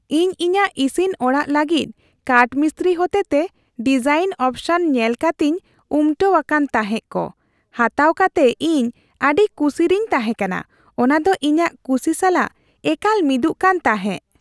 ᱤᱧ ᱤᱧᱟᱹᱜ ᱤᱥᱤᱱ ᱚᱲᱟᱜ ᱞᱟᱹᱜᱤᱫ ᱠᱟᱴᱼᱢᱤᱥᱛᱨᱤ ᱦᱚᱛᱮᱛᱮ ᱰᱤᱡᱟᱭᱤᱱ ᱚᱯᱥᱚᱱ ᱧᱮᱞ ᱠᱟᱛᱮᱧ ᱩᱢᱴᱟᱹᱣ ᱟᱠᱟᱱ ᱛᱟᱦᱮᱸᱜ ᱾ ᱠᱚ ᱦᱟᱛᱟᱣ ᱠᱟᱛᱮ ᱤᱧ ᱟᱹᱰᱤ ᱠᱩᱥᱤᱨᱮᱧ ᱛᱟᱦᱮᱸ ᱠᱟᱱᱟ ᱾ ᱚᱱᱟᱫᱚ ᱤᱧᱟᱹᱜ ᱠᱩᱥᱤ ᱥᱟᱞᱟᱜ ᱮᱠᱟᱞ ᱢᱤᱫᱩᱜ ᱠᱟᱱ ᱛᱟᱦᱮᱸᱜ ᱾